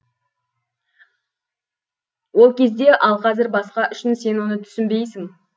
ол кезде ал қазір басқа үшін сен оны түсінбейсің